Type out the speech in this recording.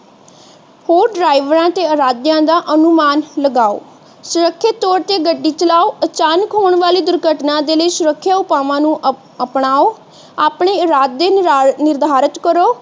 ਹੋਰ ਡਾਰਾਵੇਰ ਤੇ ਅਰਾਧਿਆ ਦਾ ਅਨੁਮਾਨ ਲਗਾਓ ਸੁਰੱਖਿਅਤ ਤੋਰ ਤੇ ਗੱਡੀ ਚਲਾਓ ਅਚਾਨਕ ਹੋਣ ਦੀ ਦੁਰਘਟਨਾ ਦੇ ਲਈ ਸੁਰੱਖਿਆ ਉਪਾਵਾਂ ਨੂੰ ਅਪਣਾਓ ਆਪਣੇ ਇਰਾਦੇ ਨਿਰਧਾਰਿਤ ਕਰੋ